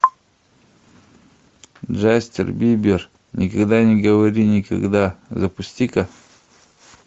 джастин бибер никогда не говори никогда запусти ка